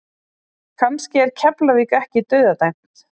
Kannski er Keflavík ekki dauðadæmt?